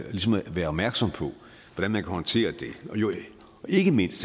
være opmærksom på hvordan man kan håndtere det ikke mindst